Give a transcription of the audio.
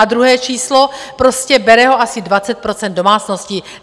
A druhé číslo, prostě bere ho asi 20 % domácností.